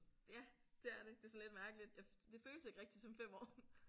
Ja det er det det er sådan lidt mærkeligt det føles ikke rigtig som 5 år